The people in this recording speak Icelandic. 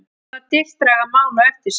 Hvaða dilk draga mál á eftir sér?